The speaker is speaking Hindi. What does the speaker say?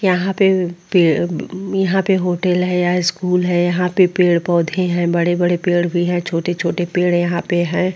यहाँ पे पेड़ यहाँ पे होटल है या स्कूल है यहाँ पे पेड़ पौधे है बड़े-बड़े पेड़ भी है छोटे-छोटे पेड़ यहाँ पे है ।